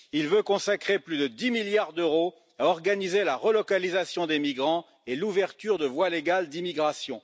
Il vise à consacrer plus de 10 milliards d'euros à organiser la relocalisation des migrants et l'ouverture de voies légales d'immigration.